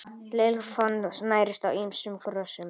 Lirfan nærist á ýmsum grösum.